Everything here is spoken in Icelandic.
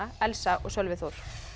Elsa og Sölvi Þór